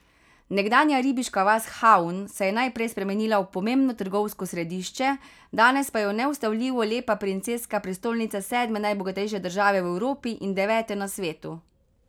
Nekdanja ribiška vas Havn se je najprej spremenila v pomembno trgovsko središče, danes pa je neustavljivo lepa princeska prestolnica sedme najbogatejše države v Evropi in devete na svetu.